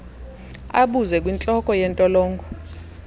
abuze kwintloko yentolongo